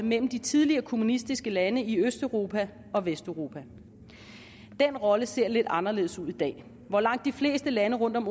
mellem de tidligere kommunistiske lande i østeuropa og vesteuropa den rolle ser lidt anderledes ud i dag hvor langt de fleste lande rundt om